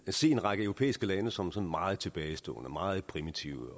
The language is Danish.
at se en række europæiske lande som sådan meget tilbagestående og meget primitive